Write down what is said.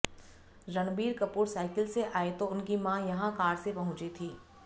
Ranbir Kapoor cycle से आए तो उनकी मां यहां कार से पहुंची थीं